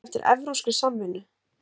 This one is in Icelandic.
Kalla eftir evrópskri samvinnu